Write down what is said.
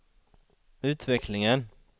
utvecklingen